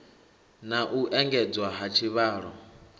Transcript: na u engedzwa ha tshivhalo